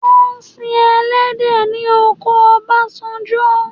Wọ́n ń si ẹlẹhdẹ̀ ní oko Ọbásanjọ.